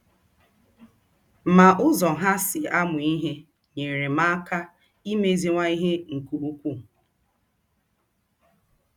Ma ụzọ ha ha si amụ ihe nyeere m aka imeziwanye ihe nke ukwuu.